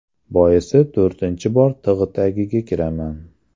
Boisi to‘rtinchi bor tig‘ tagiga kiraman.